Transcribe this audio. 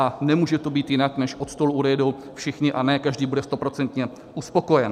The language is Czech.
A nemůže to být jinak, než od stolu odejdou všichni a ne každý bude stoprocentně uspokojen.